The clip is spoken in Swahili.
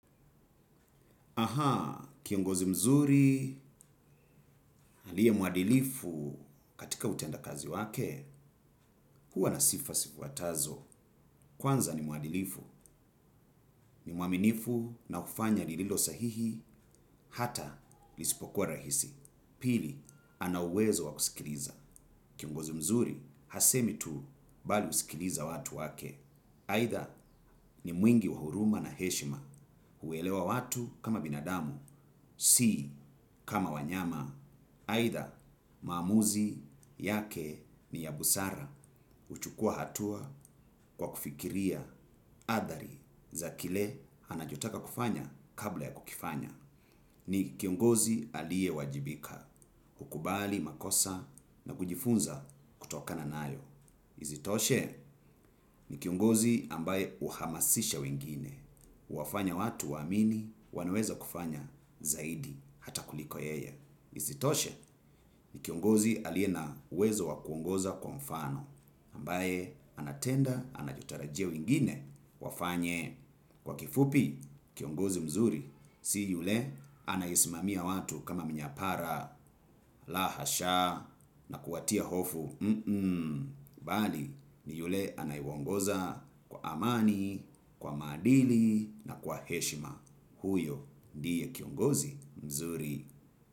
Ahaa, kiongozi mzuri aliye mwadilifu katika utenda kazi wake, huwa na sifa zifuatazo. Kwanza ni mwadilifu, ni mwaminifu na hufanya lililo sahihi, hata lisipokuwa rahisi. Pili ana uwezo wa kusikiliza kiongozi mzuri, hasemi tu bali husikiliza watu wake. Aidha ni mwingi wa huruma na heshima huelewa watu kama binadamu, si kama wanyama. Aidha maamuzi yake ni ya busara huchukua hatua kwa kufikiria athari za kile anachotaka kufanya kabla ya kukifanya. Ni kiongozi aliyewajibika, hukubali, makosa na kujifunza kutokana nayo. Isitoshe ni kiongozi ambaye huhamasisha wengine, huwafanya watu waamini, wanaweza kufanya zaidi, hata kuliko yeye. Isitoshe ni kiongozi aliye na uwezo wa kuongoza kwa mfano, ambaye anatenda, anachotarajia wengine, wafanye. Kwa kifupi, kiongozi mzuri si yule anayesimamia watu kama mnyapara la hasha, na kuwatia hofu, mhm, bali ni yule anayewaongoza kwa amani, kwa maadili na kwa heshima, huyo ndiye kiongozi mzuri.